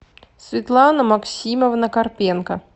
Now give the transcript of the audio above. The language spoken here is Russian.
светлана максимовна карпенко